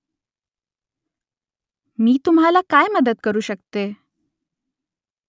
मी तुम्हाला काय मदत करू शकते ?